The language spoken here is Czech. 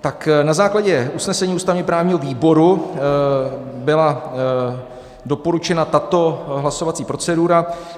Tak na základě usnesení ústavně-právního výboru byla doporučena tato hlasovací procedura.